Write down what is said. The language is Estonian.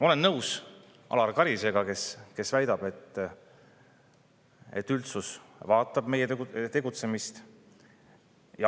Olen nõus Alar Karisega, kes väidab, et üldsus vaatab meie tegutsemist.